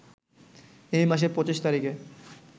এই মাসের ২৫ তারিখে